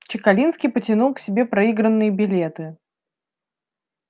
чекалинский потянул к себе проигранные билеты